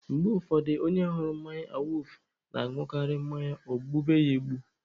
Mgbe ụfọdụ, onye hụrụ mmanya awufu na-añụkarị mmanya o gbube ya egbu.